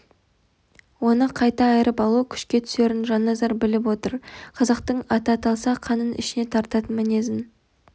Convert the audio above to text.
оны қайта айырып алу күшке түсерін жанназар біліп отыр қазақтың аты аталса қанын ішіне тартатын мінезін